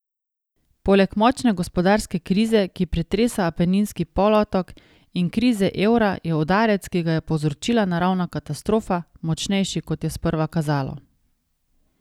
Poleg močne gospodarske krize, ki pretresa Apeninski polotok, in krize evra, je udarec, ki ga je povzročila naravna katastrofa, močnejši, kot je sprva kazalo.